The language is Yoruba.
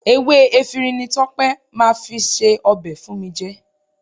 Ewé efinrin ni Tọ́pẹ́ máa fi se ọbẹ̀ fún mi jẹ